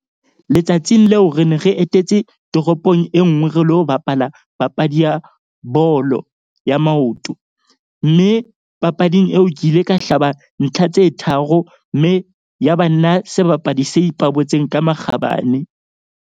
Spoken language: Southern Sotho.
Letsatsing leo re ne re etetse toropong e nngwe re lo bapala papadi ya bolo ya maoto. Mme papading eo ke ile ka hlaba ntlha tse tharo. Mme ya ba nna sebapadi se ipabotseng ka makgabane.